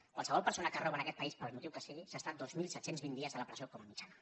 qualsevol persona que roba en aquest país pel motiu que sigui s’està dos mil set cents i vint dies a la presó com a mitjana